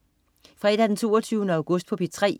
Fredag den 22. august - P3: